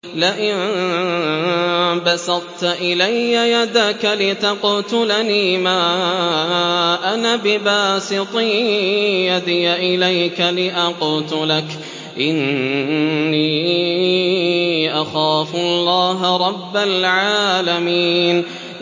لَئِن بَسَطتَ إِلَيَّ يَدَكَ لِتَقْتُلَنِي مَا أَنَا بِبَاسِطٍ يَدِيَ إِلَيْكَ لِأَقْتُلَكَ ۖ إِنِّي أَخَافُ اللَّهَ رَبَّ الْعَالَمِينَ